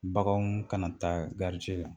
Baganw kana taa garijɛ la